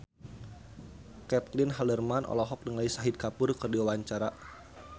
Caitlin Halderman olohok ningali Shahid Kapoor keur diwawancara